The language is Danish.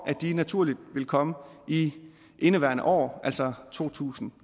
de naturligt vil komme i indeværende år altså totusinde